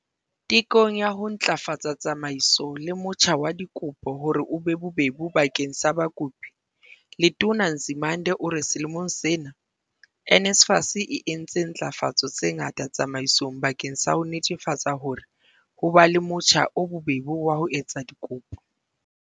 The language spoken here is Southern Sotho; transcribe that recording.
Tekong ya ho ntlafatsa tsamaiso le motjha wa dikopo hore o be bobebe bakeng sa bakopi, Letona Nzimande o re selemong sena, NSFAS e entse ntlafatso tse ngata tsamaisong bakeng sa ho netefatsa hore ho ba le motjha o bobebe wa ho etsa dikopo.